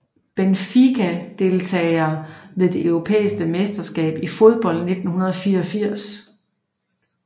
Benfica Deltagere ved det europæiske mesterskab i fodbold 1984